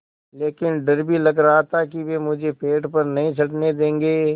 लेकिन डर भी लग रहा था कि वे मुझे पेड़ पर नहीं चढ़ने देंगे